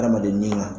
Adamaden ni ŋa